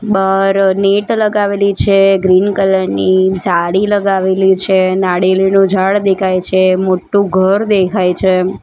બાર net લગાવેલી છે green colour ની સાડી લગાવેલી છે નાળિયેલીનું ઝાડ દેખાય છે મોટું ઘર દેખાય છે.